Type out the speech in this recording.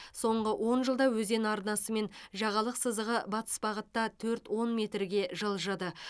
соңғы он жылда өзен арнасы мен жағалық сызығы батыс бағытта төрт он метрге жылжыды